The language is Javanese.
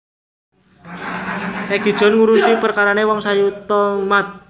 Egi John ngurusi perkarane wong sayuta umat